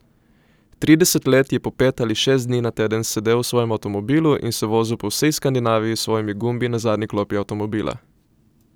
Trideset let je po pet ali šest dni na teden sedel v svojem avtomobilu in se vozil po vsej Skandinaviji s svojimi gumbi na zadnji klopi avtomobila.